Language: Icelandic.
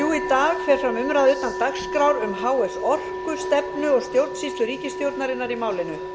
dag fer fram umræða utan dagskrár um h s orku stefnu og stjórnsýslu ríkisstjórnarinnar í málinu